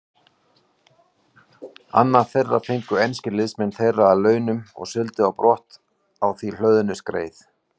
Annað þeirra fengu enskir liðsmenn þeirra að launum og sigldu brott á því hlöðnu skreið.